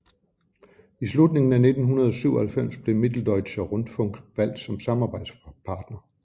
I slutningen af 1997 blev Mitteldeutscher Rundfunk valgt som samarbejdspartner